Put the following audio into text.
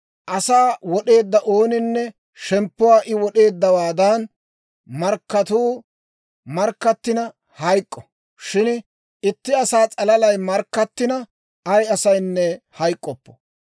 « ‹Asa wod'eedda ooninne shemppuwaa I wod'eeddawaadan markkatuu markkattina hayk'k'o; shin itti asaa s'alalay markkattina, ay asaynne hayk'k'oppo.